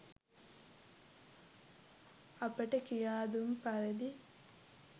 අපට කියා දුන් පරිදි